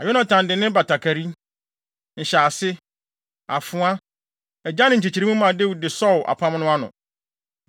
Na Yonatan de ne batakari, nhyɛase, afoa, agyan ne nkyekyeremu maa Dawid de sɔw apam no ano.